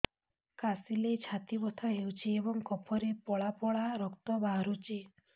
କାଶିଲେ ଛାତି ବଥା ହେଉଛି ଏବଂ କଫରେ ପଳା ପଳା ରକ୍ତ ବାହାରୁଚି